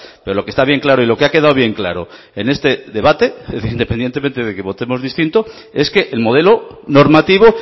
pero lo que está bien claro y lo que ha quedado bien claro en este debate independientemente de que votemos distinto es que el modelo normativo